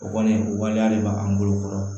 O kɔni o waleya de b'a bolo kɔrɔ